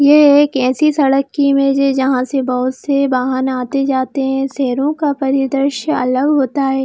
ये एक ऐसी सड़क की इमेज है जहां से बहुत से वाहन आते जाते है शहरों का परिदृश्य अलग होता है।